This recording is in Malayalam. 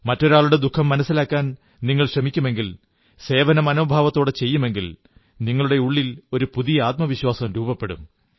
മറ്റൊരാളുടെ ദുഃഖം മനസ്സിലാക്കാൻ നിങ്ങൾ ശ്രമിക്കുമെങ്കിൽ സേവനമനോഭാവത്തോടെ ചെയ്യുമെങ്കിൽ നിങ്ങളുടെയുള്ളിൽ ഒരു പുതിയ ആത്മവിശ്വാസം രൂപപ്പെടും